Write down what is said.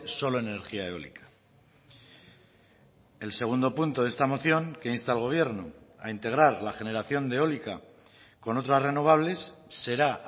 solo energía eólica el segundo punto de esta moción que insta al gobierno a integrar la generación de eólica con otras renovables será